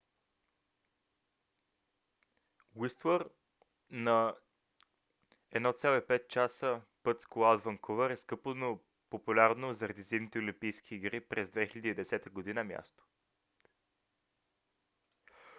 уистлър на 1,5 часа път с кола от ванкувър е скъпо но популярно заради зимните олимпийски игри през 2010 г. място